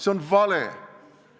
See on vale!